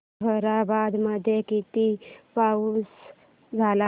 ताहराबाद मध्ये किती पाऊस झाला